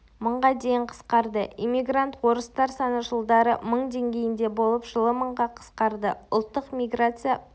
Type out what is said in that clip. мыңға дейін қысқарды иммигрант орыстар саны жылдары мың деңгейінде болып жылы мыңға қысқарды ұлттық миграция